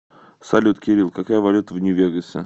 салют кирилл какая валюта в нью вегасе